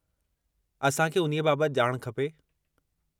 असां खे उन्हीअ बाबति ॼाण खपे।